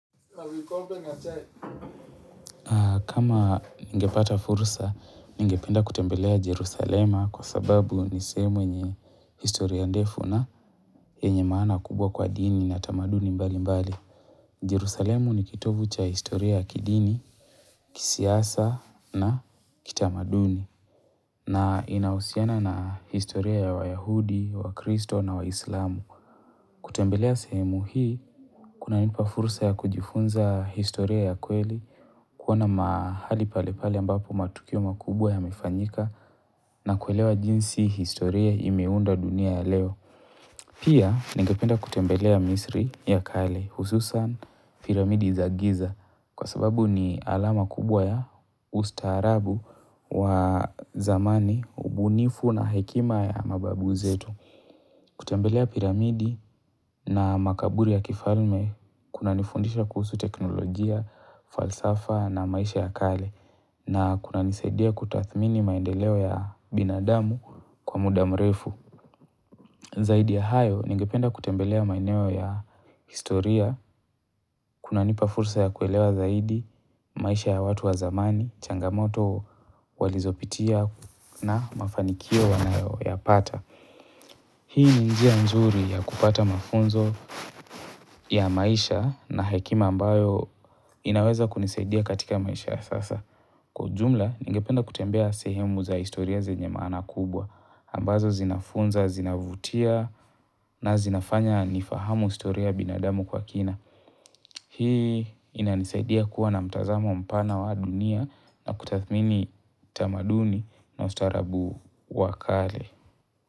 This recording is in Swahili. Kama ningepata fursa, ningependa kutembelea Jerusalema kwa sababu nisehemu yenye historia ndefu na yenye maana kubwa kwa dini na tamaduni mbalimbali. Jerusalema ni kitovu cha historia kidini, kisiasa na kitamaduni. Na inahusiana na historia ya wa Yahudi, wa Kristo na wa Islamu. Kutembelea sehemu hii, kunanipa fursa ya kujifunza historia ya kweli, kuona mahali pale pale ambapo matukio makubwa yamefanyika na kuelewa jinsi historia imeunda dunia ya leo. Pia, ningependa kutembelea misri ya kale hususan piramidi za giza kwa sababu ni alama kubwa ya ustaarabu wa zamani, ubunifu na hekima ya mababu zetu. Kutembelea piramidi na makaburi ya kifalme, kuna nifundisha kuhusu teknolojia, falsafa na maisha ya kale, na kuna nisaidia kutathmini maendeleo ya binadamu kwa muda mrefu. Zaidi ya hayo, ningependa kutembelea maeneo ya historia, kunanipa fursa ya kuelewa zaidi, maisha ya watu wa zamani, changamoto walizopitia na mafanikio wanayo ya pata. Hii ni njia njuri ya kupata mafunzo ya maisha na hekima ambayo inaweza kunisaidia katika maisha sasa. Kwa ujumla, nigependa kutembea sehemu za historia zenye maana kubwa. Ambazo zinafunza, zinavutia na zinafanya nifahamu historia ya binadamu kwa kina. Hii inanisaidia kuwa na mtazamo mpana wa dunia na kutathmini tamaduni na ustaarabu wakale.